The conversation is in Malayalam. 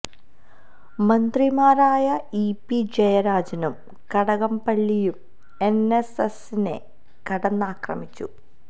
മന്ത്രിമാരായ ഇപി ജയരാജനും കടകം പള്ളിയും എൻ എസ് എസിനെ കടന്നാക്രമിച്ചു